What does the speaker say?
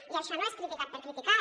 i això no és criticar per criticar